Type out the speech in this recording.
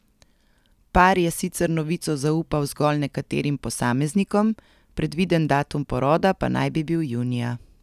Par je sicer novico zaupal zgolj nekaterim posameznikom, predviden datum poroda pa naj bi bil junija.